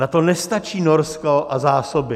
Na to nestačí Norsko a zásoby.